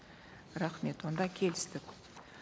рахмет онда келістік